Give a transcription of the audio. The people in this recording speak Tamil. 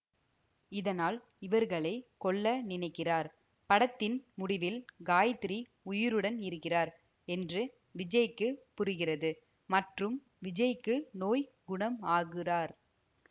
இதனால் இவர்களை கொல்ல நினைக்கிறார் படத்தின் முடிவில் காயத்திரி உயிருடன் இருக்கிறார் என்று விஜய்க்கு புரிகிறது மற்றும் விஜய்க்கு நோய் குணம் ஆகுறார்